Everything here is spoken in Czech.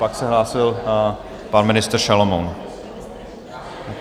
Pak se hlásil pan ministr Šalomoun.